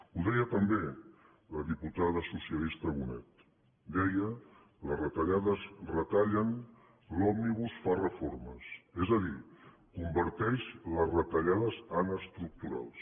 ho deia també la diputada socialista bonet deia les retallades retallen l’òmnibus fa reformes és a dir converteix les retallades en estructurals